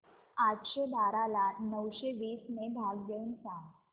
आठशे बारा ला नऊशे वीस ने भाग देऊन सांग